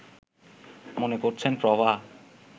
মনে করছেন প্রভা